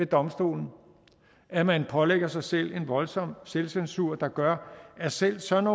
domstolen at man pålægger sig selv en voldsom selvcensur der gør at selv sådan